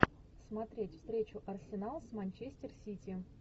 смотреть встречу арсенал с манчестер сити